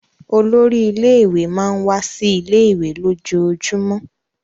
Olórí ilé-ìwé máà ń wá sí ilé-ìwé lójoojúmọ́.